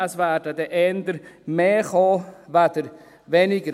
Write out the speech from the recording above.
Es werden dann eher mehr kommen als weniger.